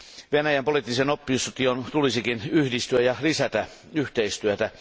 Venäjän poliittisen opposition tulisikin yhdistyä ja lisätä yhteistyötä.